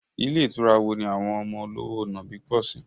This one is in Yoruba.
Ilé ìtura wo ni àwọn ọmọ olówò nàbì pọ̀ sí?